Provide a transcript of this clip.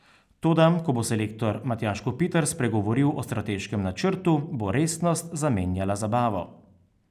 Toda ko bo selektor Matjaž Kopitar spregovoril o strateškem načrtu, bo resnost zamenjala zabavo.